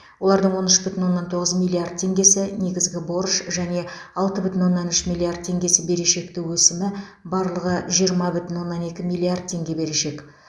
олардың он үш бүтін оннан тоғыз миллиард теңгесі негізгі борыш және алты бүтін оннан үш миллиард теңгесі берешекті өсімі барлығы жиырма бүтін оннан екі миллиард теңге берешек